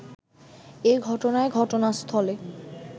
এ ঘটনায় ঘটনাস্থলে